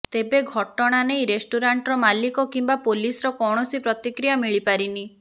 ତେବେ ଘଟଣା ନେଇ ରେଷ୍ଟୁରାଣ୍ଟର ମାଲିକ କିମ୍ବା ପୋଲିସର କୌଣସି ପ୍ରତିକ୍ରିୟା ମିଳିପାରିନି